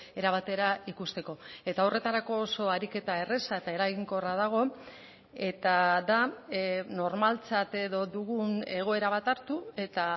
era batera ikusteko eta horretarako oso ariketa erraza eta eraginkorra dago eta da normaltzat edo dugun egoera bat hartu eta